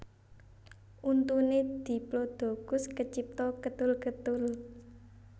Untuné diplodocus kecipta ketul ketul